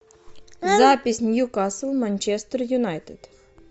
запись ньюкасл манчестер юнайтед